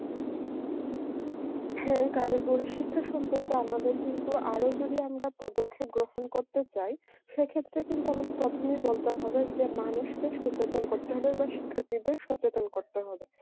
হ্যাঁ কারিগরি শিক্ষা সম্বন্ধে আমাদের কিন্তু আরো যদি আমরা পদক্ষেপ গ্রহণ করতে চাই সে ক্ষেত্রে কিন্তু আমাদের প্রথমেই বলতে হবে যে মানুষ কে সচেতন করতে হবে বা শিক্ষাত্রীদের কে সচেতন করতে হবে